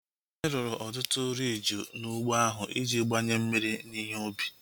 Anyị rụrụ ọtụtụ riiji n'ụgbọ ahu iji gbanye mmiri na ihe ubi